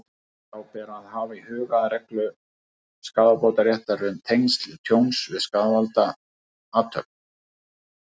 Þá ber og að hafa í huga reglu skaðabótaréttar um tengsl tjóns við skaðvæna athöfn.